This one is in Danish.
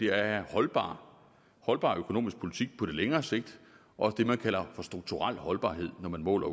er holdbar holdbar økonomisk politik på længere sigt og det man kalder for strukturel holdbarhed når man måler